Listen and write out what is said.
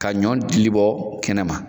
Ka ɲɔ dilibɔ kɛnɛma